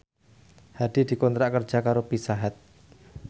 Hadi dikontrak kerja karo Pizza Hut